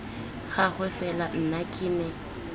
gagwe fela nna ke ne